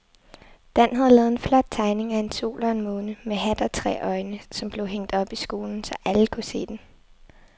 Dan havde lavet en flot tegning af en sol og en måne med hat og tre øjne, som blev hængt op i skolen, så alle kunne se den.